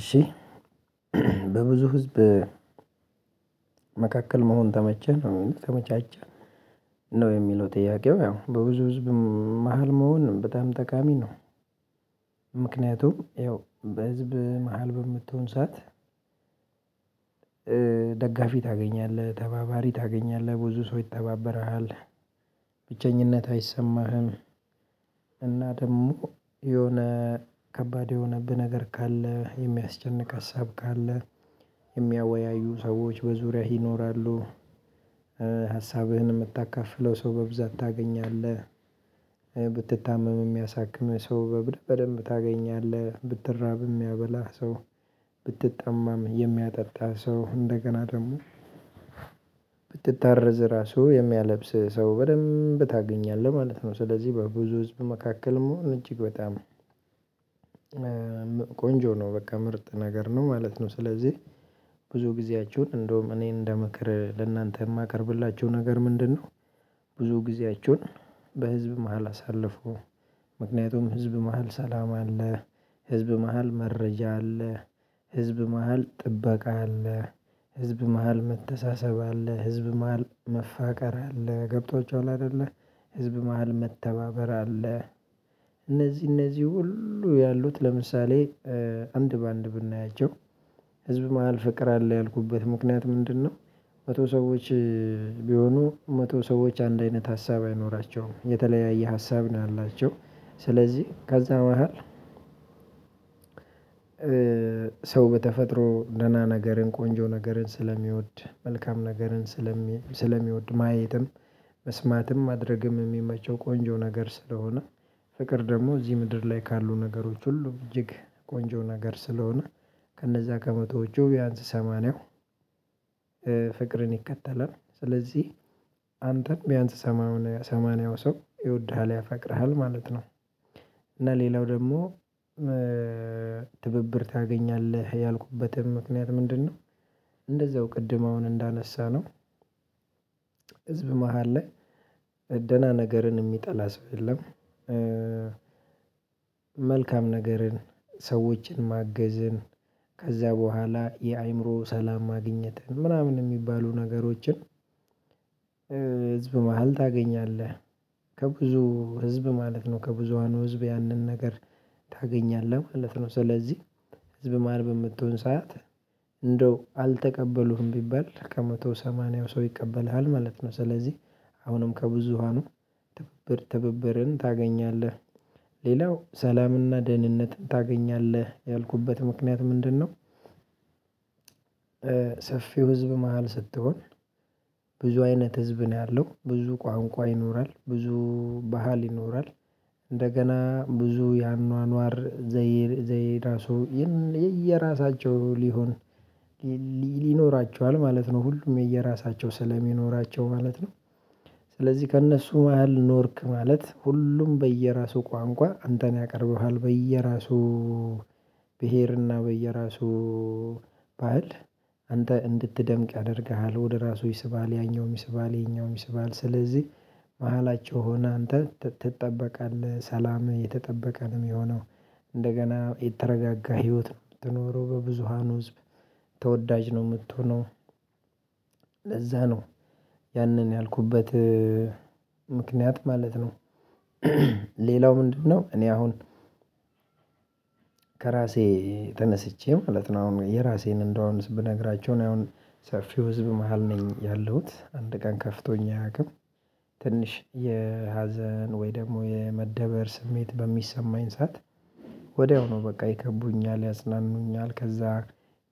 እሺ በብዙ ህዝብ መካከል መሆን ተመቸን ተመቻቸቸህ ነው የሚለው ጥያቄው ያው በብዙ ህዝብ መሃል መሆን በጣም ጠቃሚ ነው። ምክንያቱም ያው በህዝብ መሃል በምትሆን ሰዓት ታገኛለህ ተባባሪ ታገኛለህ ብዙ ሰው ይተባበርሃል ብቸኝነት አይሰማህም። እና ደግሞ የሆነ ከባድ የሆነብህ ነገር ካለ የሚያስጨንቅ ሀሳብ ካለ የሚያወያዩ ሰዎች በዙሪያህ ይኖራሉ። ሀሳብህን የምታካፍለው ሰው በብዛት ታገኛለህ ብትታመም የሚያሳክም ሰው በደንብ ታገኛለህ ብትራብ የሚያበላህ ሰው ብትጠማም የሚያጠጣህ ሰው እንደገና ደግሞ ብትታረዝ ራሱ የሚያለብስ ሰው በደንብ ታገኛለህ ማለት ነው። ስለዚህ በብዙ ህዝብ መካከል እጅግ በጣም ቆንጆ ነው በቃ ምርጥ ነገር ነው ማለት ነው። ስለዚህ ብዙ ጊዜያቸውን እንደውም እኔ እንደምክር ለእናንተ የማቀርብላቸው ነገር ምንድነው? ብዙ ጊዜያችውን በህዝብ መሃል አሳለፉ። ምክንያቱም ህዝብ መሃል ሰላም አለ። ህዝብ መሃል መረጃ አለ። ህዝብ መሃል ጥበቃ አለ። ህዝብ መሃል መተሳሰብ አለ ህዝብ መሃል መፋቀር አለ ገብቷችኋልሃ አይደለ ህዝብ መሃል መተባበር አለ። እነዚህ እነዚህ ሁሉ ያሉት ለምሳሌ አንድ በአንድ ብናያቸው ህዝብ መሃል ፍቅር አለ ያልኩበት ምክንያት ምንድነው? መቶ ሰዎች ቢሆኑ መቶ ሰዎች አንድ አይነት ሀሳብ አይኖራቸውም የተለያየ ሀሳብ ነው ያላቸው። ስለዚህ ከዛ መሃል ሰው በተፈጥሮ ደህና ነገርን ቆንጆ ነገርን ስለሚወድ መልካም ነገርን ስለሚወድ ማየትም መስማትም ማድረግም የሚመቸው ቆንጆ ነገር ስለሆነ ፍቅር ደግሞ እዚህ ምድር ላይ ካሉ ነገሮች ሁሉ እጅግ ቆንጆ ነገር ስለሆነ ከነዛ ከመቶዎቹ ቢያንስ ሰማንያው ፍቅርን ይከተላል። ስለዚህ አንተን ቢያንስ ሰማንያው ሰው ይወድሃል ያፈቅርሃል ማለት ነው። እና ሌላው ደግሞ ትብብር ታገኛለህ ያልኩበትም ምክንያት ምንድነው? እንደዛው ቅድም አሁን እንዳነሳነው ህዝብ መሃል ላይ ደህና ነገርን የሚጠላ ሰው የለም። መልካም ነገርን ሰዎችን ማገዝን ከዛ በኋላ የአእምሮ ሰላም ማግኘትን ምናምን የሚባሉ ነገሮችን ህዝብ መሃል ታገኛለህ። ከብዙ ህዝብ ማለት ነው ከብዙሃኑ ህዝብ ያንን ነገር ታገኛለህ ማለት ነው። ስለዚህ ህዝብ ማን በምትሆን ሳያት እንደው አልተቀበሉህም ቢባል ከመቶ ሰማንያው ሰው ይቀበልሃል ማለት ነው። ስለዚህ አሁንም ከብዙሃኑ ትብብር ትብብርን ታገኛለህ። ሌላው ሰላምና ደህንነት ታገኛለህ ያልኩበት ምክንያት ምንድነው? ሰፊው ህዝብ መሃል ስትሆን ብዙ አይነት ህዝብ ነው ያለው ብዙ ቋንቋ ይኖራል ብዙ ባህል ይኖራል። እንደገና ብዙ ያኗኗር ዘይር ዘዬ ራሱ የየራሳቸው ሊሆን ይኖራቸዋል ማለት ነው ሁሉም የየራሳቸው ስለሚኖራቸው ማለት ነው። ስለዚህ ከእነሱ ያህል ኖርክ ማለት ሁሉም በየራሱ ቋንቋ አንተን ያቀርብሃል በየራሱ ብሄርና በየራሱ ባህል አንተ እንድትደምቅ ያደርግሃል ወደ ራሱ ይስባል ያኛውም ይስባል ይሄኛውም ይስባል ስለዚህ መሃላቸው ሆነህ አንተ ትጠበቃለህ ሰላምህ የተጠበቀ ነው የሚሆነው። እንደገና የተረጋጋ ህይወት ነው ምትኖረው በብዙሃኑ ህዝብ ተወዳጅ ነው የምትሆነው። ለዛ ነው ያንን ያልኩበት ምክንያት ማለት ነው። ሌላው ምንድነው እኔ አሁን ከራሴ ተነስቼ ማለት ነው አሁን የራሴን እንደሆነ ብነግራቸው እኔ አሁን ሰፊው ህዝብ መሃል ነኝ ያለሁት አንድ ቀን ከፍቶኝ አያውቅም። ትንሽ የሀዘን ወይ ደግሞ የመደበር ስሜት በሚሰማኝ ሰዓት ወዲያው ነው በቃ ይከቡኛል ያጽናኑኛል ከዛ